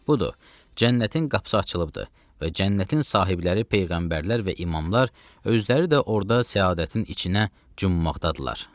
Budur, cənnətin qapısı açılıbdır və cənnətin sahibləri peyğəmbərlər və imamlar özləri də orda səadətin içinə cummaqdadırlar.